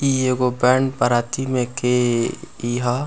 इ एगो बेंड - बराती में के इ ह।